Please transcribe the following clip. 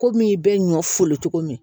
Komi i bɛ ɲɔ folo cogo min